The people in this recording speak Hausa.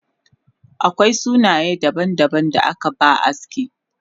Akwai sunaye daban daban da akaba aski